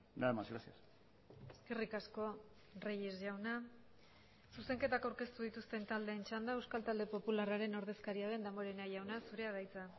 nada más gracias eskerrik asko reyes jauna zuzenketak aurkeztu dituzten taldeen txanda euskal talde popularraren ordezkaria den damborenea jauna zurea da hitza